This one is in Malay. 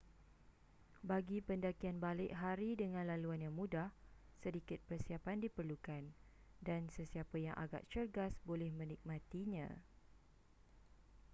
bagi pendakian balik hari dengan laluan yang mudah sedikit persiapan diperlukan dan sesiapa yang agak cergas boleh menikmatinya